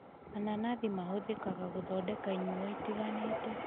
Mananathi mahũthĩkaga gũthondeka inyuo itiganĩte